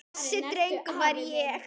Þessi drengur var ég.